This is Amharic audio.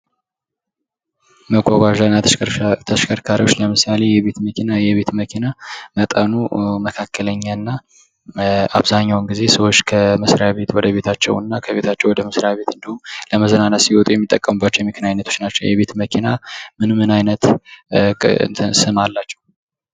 መጓጓዣ እና ተሸከርካሪዎች ለምሳሌ የቤት መኪና የቤት መኪና መጠኑ መካከለኛ እና አብዛኛውን ጊዜ ሰዎች ከመስሪያ ቤት ወደ ቤታቸው እና ከቤታቸው ወደ መስሪያ ቤት እንዲሁም ለመዝናናት ሲወጡ የሚጠቀሙባቸው የመኪና ዓይነቶች ናቸው ።የቤት መኪና ምን ምን አይነት ስም አላቸው።